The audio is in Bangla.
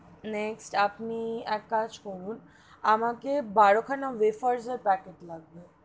Next আপনি এক কাজ করুন আমাকে বারো খানা wafers এর packet লাগবে,